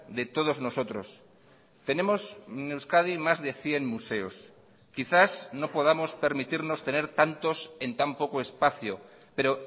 de todos nosotros tenemos en euskadi más de cien museos quizás no podamos permitirnos tener tantos en tan poco espacio pero